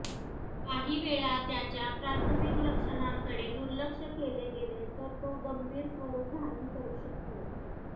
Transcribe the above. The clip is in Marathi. काही वेळा त्याच्या प्राथमिक लक्षणांकडे दुर्लक्ष केले गेले तर तो गंभीर स्वरुप धारण करू शकतो